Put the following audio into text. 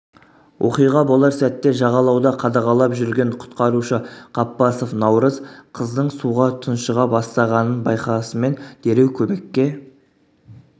оқиға болар сәтте жағалауда қадағалап жүрген құтқарушы қаппасов наурыз қыздың суға тұңшыға бастағаннын байқасымен дереу көмекке